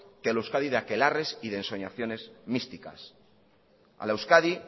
que a la euskadi de akelarres y de ensoñaciones místicas a la euskadi